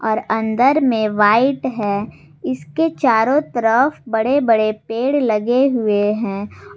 और अंदर में व्हाइट है इसके चारों तरफ बड़े-बड़े पेड़ लगे हुए हैं।